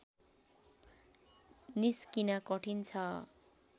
निस्किन कठिन छ